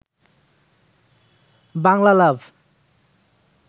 Bangla লাভ